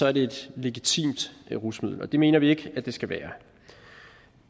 er det et legitimt rusmiddel og det mener vi ikke at det skal være